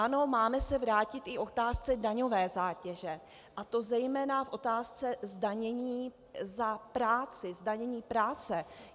Ano, máme se vrátit i k otázce daňové zátěže, a to zejména v otázce zdanění za práci, zdanění práce.